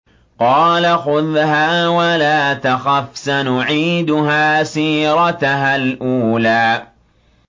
قَالَ خُذْهَا وَلَا تَخَفْ ۖ سَنُعِيدُهَا سِيرَتَهَا الْأُولَىٰ